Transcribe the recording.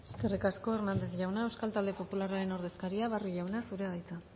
eskerrik asko hernández jauna euskal talde popularraren ordezkaria barrio jauna zurea da hitza